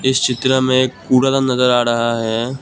इस चित्र में कूड़ादान नजर आ रहा है।